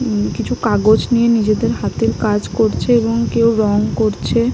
উম কিছু কাগজ নিয়ে নিজেদের হাতের কাজ করছে এবং কেউ রং করছে।